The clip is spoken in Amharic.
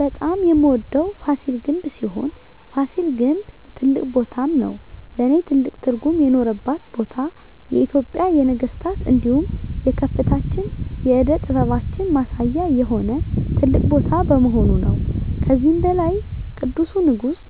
በጣም የምወደዉ ፋሲል ግንብ ሲሆን ፋሲል ግን ትልቅ ቦታም ነዉ ለእኔ ትልቅ ትርጉም የኖረባት ቦታ የኢትጵያን የነገስታት እንዲሁም የከፍታችን የእደ ጥበባችን ማሳያ የሆነ ትልቅ ቦታ በመሆኑ ነዉ። ከዚህም በላይ ቅዱሱ ንጉስ